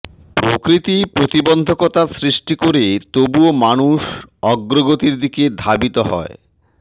প্রকৃতি প্রতিবন্ধকতা সৃষ্টি করে তবুও মানুষ অগ্রগতির দিকে ধাবিত হয়